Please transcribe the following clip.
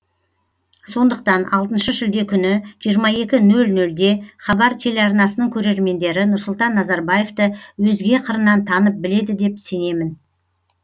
сондықтан алтыншы шілде күні жиырма екі нөл нөлде хабар телеарнасының көрермендері нұрсұлтан назарбаевты өзге қырынан танып біледі деп сенемін